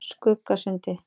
Skuggasundi